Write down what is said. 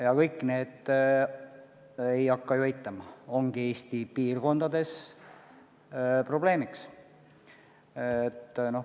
Ja kõik need, ei hakka ju eitama, ongi Eesti piirkondades probleemiks.